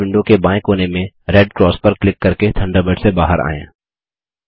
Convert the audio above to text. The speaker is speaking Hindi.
थंडरबर्ड विंडो के बायें कोने में रेड क्रास पर क्लिक करके थंडरबर्ड से बाहर आएँ